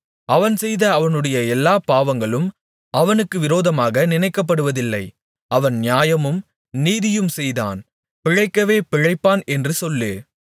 அவன் செய்த அவனுடைய எல்லாப் பாவங்களும் அவனுக்கு விரோதமாக நினைக்கப்படுவதில்லை அவன் நியாயமும் நீதியும் செய்தான் பிழைக்கவே பிழைப்பான் என்று சொல்லு